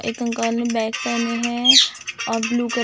एक अंकल ने बैग पहने हैं और ब्लू क--